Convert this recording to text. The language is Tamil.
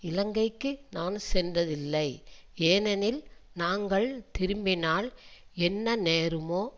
இலங்கைக்கு நான் சென்றதில்லை ஏனெனில் நாங்கள் திரும்பினால் என்ன நேருமோ